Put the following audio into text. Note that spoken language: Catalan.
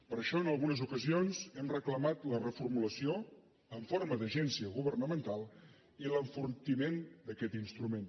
per això en algunes ocasions hem reclamat la reformulació en forma d’agència governamental i l’enfortiment d’aquest instrument